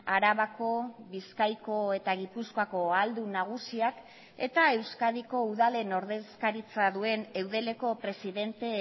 arabako bizkaiko eta gipuzkoako ahaldun nagusiak eta euskadiko udalen ordezkaritza duen eudeleko presidente